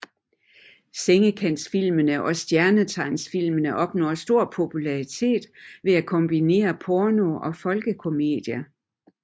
Sengekantsfilmene og Stjernetegnsfilmene opnåede stor popularitet ved at kombinere porno og folkekomedie